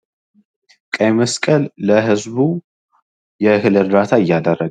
ቀይ መስቀል ለህዝቡ የእህል እርዳታ እያደረገ